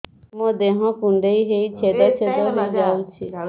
ମୋ ଦେହ କୁଣ୍ଡେଇ ହେଇ ଛେଦ ଛେଦ ହେଇ ଯାଉଛି